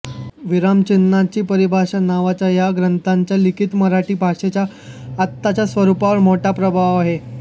विरामचिन्हांची परिभाषा नावाच्या या ग्रंथाचा लिखित मराठी भाषेच्या आत्ताच्या स्वरुपावर मोठा प्रभाव आहे